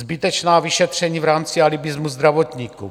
Zbytečná vyšetření v rámci alibismu zdravotníků.